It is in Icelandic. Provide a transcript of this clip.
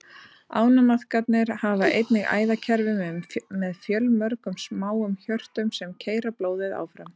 Ánamaðkarnir hafa einnig æðakerfi með fjölmörgum smáum hjörtum, sem keyra blóðið áfram.